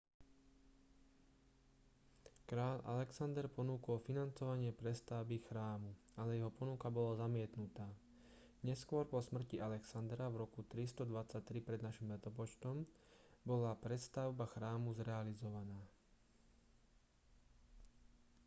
kráľ alexander ponúkol financovanie prestavby chrámu ale jeho ponuka bola zamietnutá neskôr po smrti alexandra v roku 323 pred n l bola prestavba chrámu zrealizovaná